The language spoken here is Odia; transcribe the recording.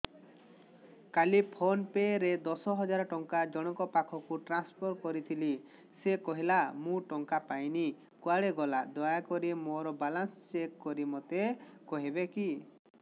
କାଲି ଫୋନ୍ ପେ ରେ ଦଶ ହଜାର ଟଙ୍କା ଜଣକ ପାଖକୁ ଟ୍ରାନ୍ସଫର୍ କରିଥିଲି ସେ କହିଲା ମୁଁ ଟଙ୍କା ପାଇନି କୁଆଡେ ଗଲା ଦୟାକରି ମୋର ବାଲାନ୍ସ ଚେକ୍ କରି ମୋତେ କହିବେ କି